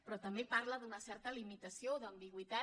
però també parla d’una certa limitació d’ambigüitat